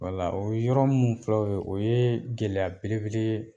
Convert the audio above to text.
Wala o yɔrɔ mun filɛ ye o ye o ye gɛlɛya bele bele ye.